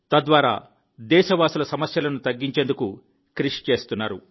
తద్వారా దేశవాసుల సమస్యలను తగ్గించేందుకు కృషి చేస్తున్నారు